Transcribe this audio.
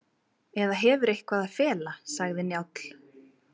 Eða hefur eitthvað að fela, sagði Njáll.